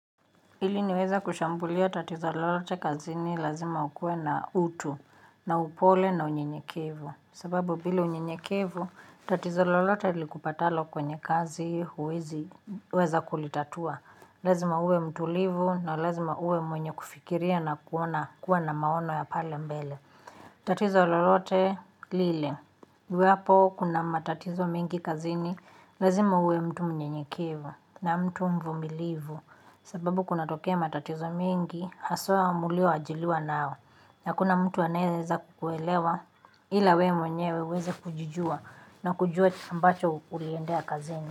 Ili niweze kushambulia tatizo lolote kazini lazima ukuwe na utu, na upole na unyenyekevu. Sababu bila unyenyekevu, tatizo lolote likupatalo kwenye kazi huwezi weza kulitatua. Lazima uwe mtulivu na lazima uwe mwenye kufikiria na kuona kuwa na maono ya pale mbele. Tatizo lolote lile. Uwipo kuna matatizo mengi kazini, lazima uwe mtu mnyenyekevu na mtu mvumilivu. Sababu kunatokea matatizo mengi, haswa mlio ajiliwa nao. Hakuna mtu anaeweza kukuelewa ila we mwenyewe uweze kujijua na kujua mbacho uliendea kazini.